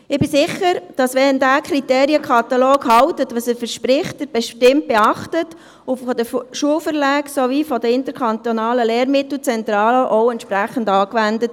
Ich bin sicher, wenn dieser Kriterienkatalog hält, was er verspricht, wird er bestimmt beachtet und sowohl vom Schulverlag als auch von der Interkantonalen Lehrmittelzentrale (ILZ) entsprechend angewendet.